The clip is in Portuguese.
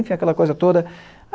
Enfim, aquela coisa toda.